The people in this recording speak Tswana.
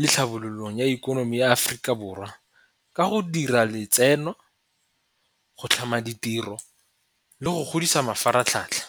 le tlhabololong ya ikonomi ya Aforika Borwa ka go dira letseno, go tlhama ditiro, le go godisa mafaratlhatlha.